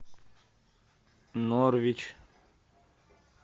норвич